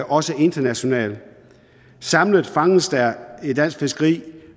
også internationalt samlet fanges der i dansk fiskeri